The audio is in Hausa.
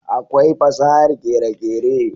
akwai fasahar kere kere